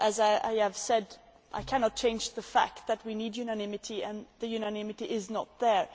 But, as I have said, I cannot change the fact that we need unanimity, and the unanimity is not there.